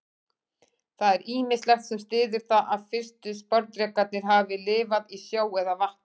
Það er ýmislegt sem styður það að fyrstu sporðdrekarnir hafi lifað í sjó eða vatni.